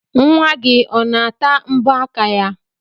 Nwa gị ọ na-ata mbọ aka ya?